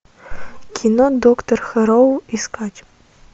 кино доктор хэрроу искать